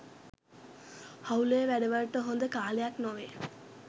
හවුලේ වැඩවලට හොඳ කාලයක්‌ නොවේ